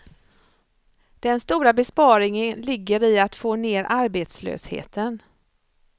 Den stora besparingen ligger i att få ner arbetslösheten.